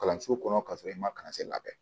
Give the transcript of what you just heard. Kalanso kɔnɔ ka sɔrɔ i ma kalansen labɛn